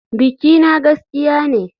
Bikina gaskiya ne.